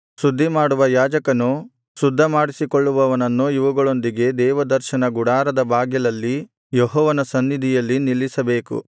ಶುದ್ಧಿ ಮಾಡುವ ಯಾಜಕನು ಶುದ್ಧಮಾಡಿಸಿಕೊಳ್ಳುವವನನ್ನು ಇವುಗಳೊಂದಿಗೆ ದೇವದರ್ಶನ ಗುಡಾರದ ಬಾಗಿಲಲ್ಲಿ ಯೆಹೋವನ ಸನ್ನಿಧಿಯಲ್ಲಿ ನಿಲ್ಲಿಸಬೇಕು